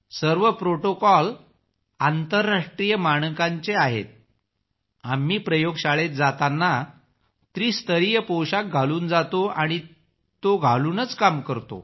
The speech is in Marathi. सर्व प्रोटोकॉल आंतरराष्ट्रीय मानकांचे आहेत आम्ही प्रयोगशाळेत जाताना त्रिस्तरीय पोशाख घालून जातो आणि तो घालूनच काम करतो